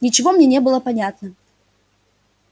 ничего мне не было понятно